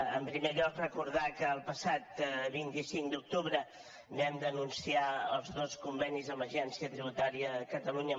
en primer lloc recordar que el passat vint cinc d’octubre vam denunciar els dos convenis amb l’agència tributària de catalunya